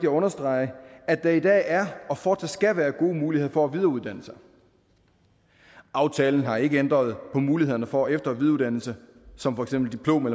at understrege at der i dag er og fortsat skal være gode muligheder for at videreuddanne sig aftalen har ikke ændret på mulighederne for efter og videreuddannelse som for eksempel diplom